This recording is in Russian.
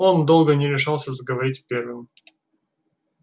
он долго не решался заговорить первым